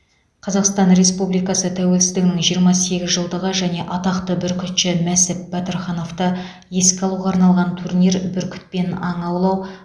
қазақстан республикасы тәуелсіздігінің жиырма сегіз жылдығы және атақты бүркітші мәсіп батырхановты еске алуға арналған турнир бүркітпен аң аулау